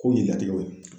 K'o yiran i bolo